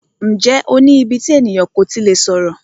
Ǹjẹ́ o ní íbí tí ènìyàn kò tí lè sọ̀rọ̀?